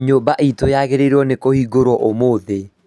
Nyũmba itũ yagĩrĩirwo nĩ kũrĩhĩrwo ũmũthĩ